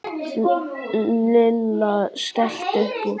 Lilla skellti upp úr.